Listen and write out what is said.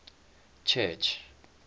church